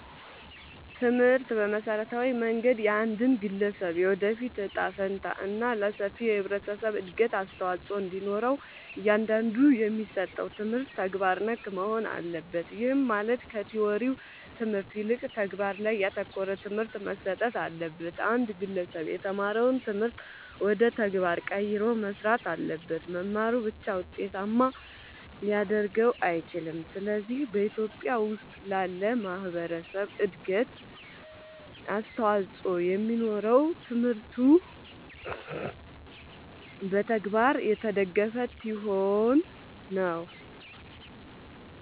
ትምህርት በመሠረታዊ መንገድ የአንድን ግለሠብ የወደፊት እጣ ፈንታ እና ለሠፊው የህብረተሠብ እድገት አስተዋፅኦ እንዲኖረው እያንዳንዱ የሚሠጠው ትምህርት ተግባር ነክ መሆን አለበት። ይህም ማለት ከቲወሪው ትምህርት ይልቅ ተግባር ላይ ያተኮረ ትምህርት መሠጠት አለበት። አንድ ግለሠብ የተማረውን ትምህርት ወደ ተግባር ቀይሮ መሥራት አለበት። መማሩ ብቻ ውጤታማ ሊያደርገው አይችልም። ስለዚህ በኢትዮጲያ ውስጥ ላለ ማህበረሠብ እድገት አስተዋፅኦ የሚኖረው ትምህርቱ በተግባር የተደገፈ ሲሆን ነው።